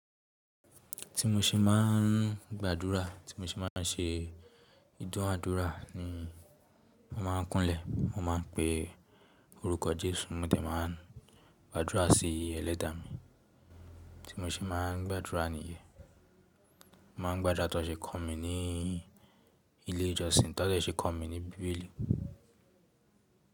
Ti mo ṣe máà ń gbàdúrà, tí mo ṣe máa ń ṣe ìdúnàádúrà ni mo máa ń kúnlẹ̀. Mo máa ń pe orúkọ Jésù, mo dẹ̀ máa ń gbàdúrà sí Ẹlẹ́dàá mi. Tí mo ṣe máa ń gbàdúrà nìyẹn. Mo máa ń gbàdúrà tó ṣe kọ̀ mí ní ilé ìjọsìn, tó dẹ̀ ṣe kọ̀ mí ní bíbélì.